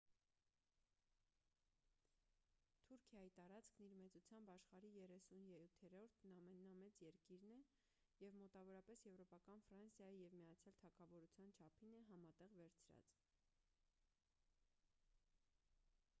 թուրքիայի տարածքն իր մեծությամբ աշխարհի 37-րդ ամենամեծ երկիրն է և մոտավորապես եվրոպական ֆրանսիայի և միացյալ թագավորության չափին է համատեղ վերցրած